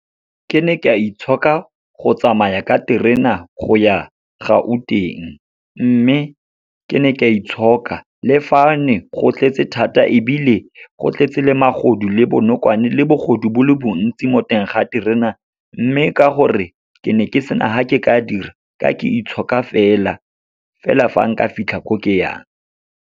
Ke ne ka itshoka go tsamaya ka terena go ya Gauteng, mme ke ne ka itshoka le fa ne go tletse thata. Ebile go tletse le magodu le bonokwane, le bogodu bo le bontsi mo teng ga terena, mme ka gore ke ne ke sena ha ke ka dira, ka ke itshoka fela, fela fa nka fitlha ko ke yang.